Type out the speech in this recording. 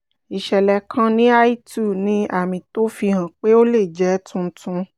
ìṣẹ̀lẹ̀ kan ní I two ní àmì tó fi hàn pé ó lè jẹ́ tuntun